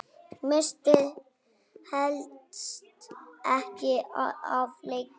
Missti helst ekki af leik.